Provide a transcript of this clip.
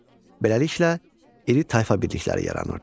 Beləliklə, iri tayfa birlikləri yaranırdı.